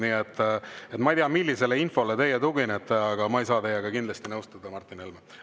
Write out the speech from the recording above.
Nii et ma ei tea, millisele infole teie tuginete, aga ma ei saa teiega kindlasti nõustuda, Martin Helme.